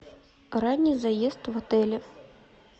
ранний заезд в отеле